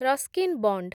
Ruskin bond